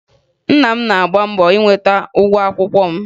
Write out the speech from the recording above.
Nna m na-agba mbọ inweta ụgwọ akwụkwọ m